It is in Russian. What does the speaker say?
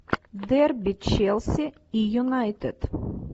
дерби челси и юнайтед